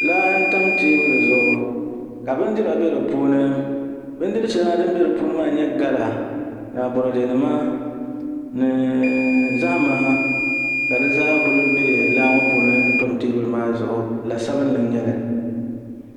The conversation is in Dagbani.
Laa n tam teebuli zuɣu ka bindira bɛ di puuni bindiri shɛli din bɛ di puuni maa n nyɛ gala aboradɛ nima ni zahama ka di zaa ku bɛ laa ŋo puuni n tam teebuli maa zuɣu la sabinli n nyɛli